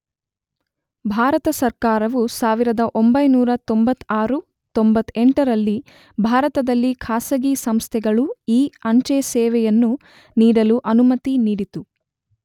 ಭಾರತ ಸರ್ಕಾರವು ೧೯೯೬, ೯೮ರಲ್ಲಿ ಭಾರತದಲ್ಲಿ ಖಾಸಗಿ ಸಂಸ್ಥೆಗಳು ಇ, ಅಂಚೆ ಸೇವೆಯನ್ನು ನೀಡಲು ಅನುಮತಿ ನೀಡಿತು.